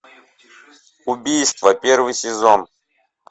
убийство первый сезон